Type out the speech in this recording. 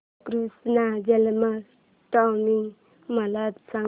कृष्ण जन्माष्टमी मला सांग